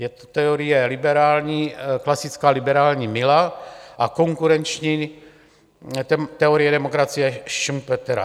Je to teorie klasická liberální Milla a konkurenční teorie demokracie Schumpetera.